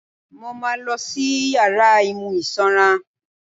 Mo máa ma lọ sí yàrá imú sanra.